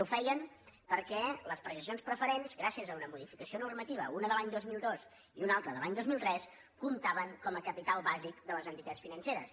i ho feien per·què les participacions preferents gràcies a una modifi·cació normativa una de l’any dos mil dos i una altra de l’any dos mil tres comptaven com a capital bàsic de les entitats financeres